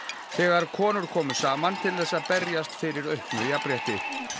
þegar konur komu saman til þess að berjast fyrir auknu jafnrétti